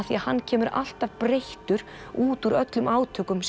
því hann kemur alltaf breyttur út úr öllum átökum